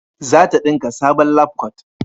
zata dinka sabon labkwat